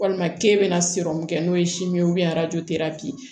Walima k'e bɛna kɛ n'o ye ye arajo